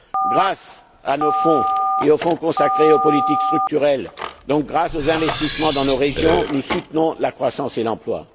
Grâce à nos fonds et aux fonds consacrés aux politiques structurelles, donc grâce aux investissements dans nos régions, nous soutenons la croissance et l'emploi.